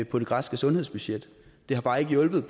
på det græske sundhedsbudget det har bare ikke hjulpet